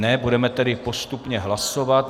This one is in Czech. Ne, budeme tedy postupně hlasovat.